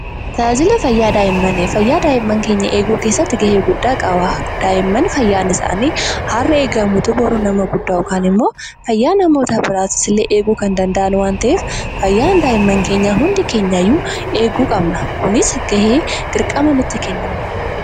Tajaajila fayyaa daa'immanii: Fayyaa daa'immaan keenyaa eeguu keessatti ga'ee guddaa qaba. Daa'imman fayyaan isaanii har'a eegamutu borus nama guddaa yookaan immoo fayyaa namoota biraas illee eeguu kan danda'aan waan ta'eef fayyaan daa'immaan keenyaa hundi keenya iyyuu eeguu qabna. Kunis ga'ee, dirqama nutti kennameedha.